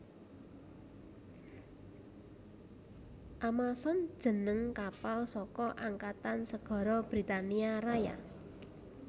Amazon jeneng kapal saka Angkatan Segara Britania Raya